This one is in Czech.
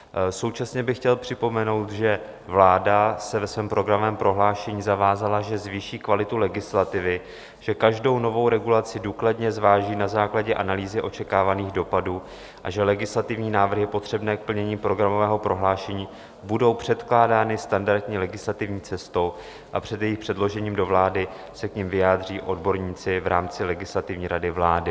Současně bych chtěl připomenout, že vláda se ve svém programovém prohlášení zavázala, že zvýší kvalitu legislativy, že každou novou regulaci důkladně zváží na základě analýzy očekávaných dopadů a že legislativní návrhy potřebné k plnění programového prohlášení budou předkládány standardní legislativní cestou a před jejich předložením do vlády se k nim vyjádří odborníci v rámci Legislativní rady vlády.